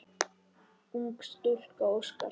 Ung stúlka óskar.